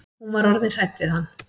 Hún var orðin hrædd við hann.